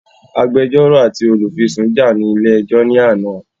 Agbẹjọ́rò àti Olùfisùn jà ní ilé ẹjọ́ ní àná